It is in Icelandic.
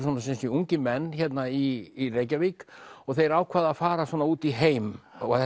ungir menn hérna í Reykjavík og þeir ákveða að fara út í heim og